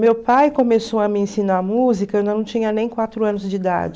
Meu pai começou a me ensinar música eu não tinha nem quatro anos de idade.